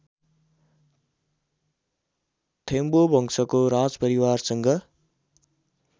थेम्बु वंशको राजपरिवारसँग